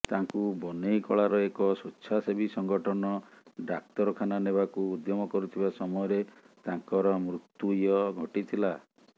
ତାଙ୍କୁ ବନେଇକଳାର ଏକ ସ୍ୱେଚ୍ଛାସେବୀ ସଂଗଠନ ଡାକ୍ତରଖାନା ନେବାକୁ ଉଦ୍ୟମ କରୁଥିବା ସମୟରେ ତାଙ୍କର ମୃତୁ୍ୟ ଘଟିଥିଲା